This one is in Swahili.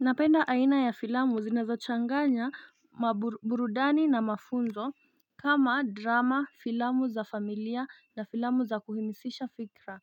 Napenda aina ya filamu zinazo changanya maburudani na mafunzo kama drama filamu za familia na filamu za kuhimisisha fikra